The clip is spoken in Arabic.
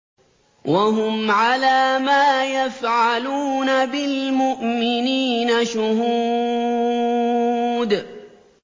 وَهُمْ عَلَىٰ مَا يَفْعَلُونَ بِالْمُؤْمِنِينَ شُهُودٌ